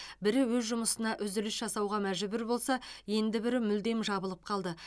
бірі өз жұмысына үзіліс жасауға мәжбүр болса енді бірі мүлдем жабылып қалды